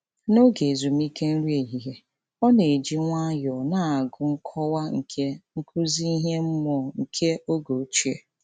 N'oge ezumike nri ehihie, ọ na-eji nwayọọ na-agụ nkọwa nke nkụzi ihe mmụọ nke oge ochie.